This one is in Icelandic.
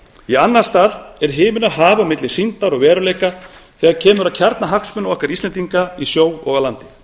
í annan stað er himinn og haf á milli sýndar og veruleika þegar kemur að kjarnahagsmunum okkar íslendinga í sjó og á landi